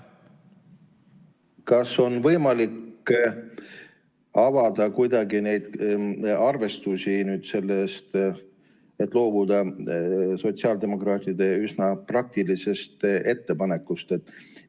Kas on võimalik kuidagi avada neid arvestusi selle kohta, miks loobuda sotsiaaldemokraatide üsna praktilisest ettepanekust?